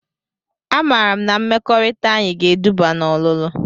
A maara m na mmekọrịta anyị ga-eduba na ọlụlụ.